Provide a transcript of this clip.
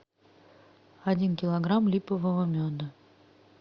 один килограмм липового меда